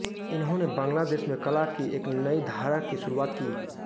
इन्होंने बंग्लादेश में कला की एक नई धारा की शुरूआत की